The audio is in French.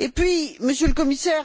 En outre, Monsieur le Commissaire,